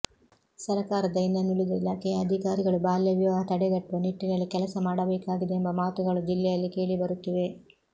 ಸರಕಾರದ ಇನನುಳಿದ ಇಲಾಖೆಯ ಅಧಿಕಾರಿಗಳು ಬಾಲ್ಯವಿವಾಹ ತಡೆಗಟ್ಟುವ ನಿಟ್ಟಿನಲ್ಲಿ ಕೆಲಸ ಮಾಡಬೇಕಾಗಿದೆ ಎಂಬ ಮಾತುಗಳು ಜಿಲ್ಲೆಯಲ್ಲಿ ಕೇಳಿ ಬರುತ್ತಿವೆ